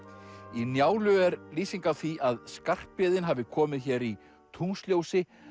í Njálu er lýsing á því að Skarphéðinn hafi komið hér í tunglsljósi